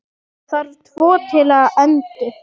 Það þarf tvo til að endur